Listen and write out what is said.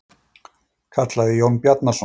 kallaði Jón Bjarnason.